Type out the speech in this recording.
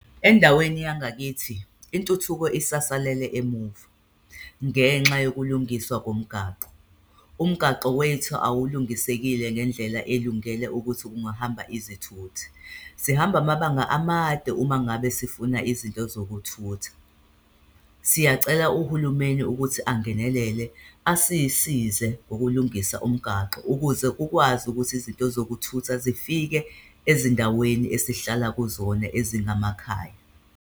Endaweni yangakithi, intuthuko isasalele emuva ngenxa yokulungiswa komgaqo, umgaqo wethu awulungisekile ngendlela elungele ukuthi kungahamba izethuthi. Sihamba amabanga amade uma ngabe sifuna izinto zokuthutha. Siyacela uhulumeni ukuthi angenelele, asisize ukulungisa umgaqo ukuze ukwazi ukuthi izinto zokuthutha zifike ezindaweni esihlala kuzona ezingamakhaya.